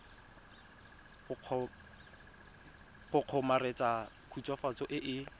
go kgomaretsa khutswafatso e e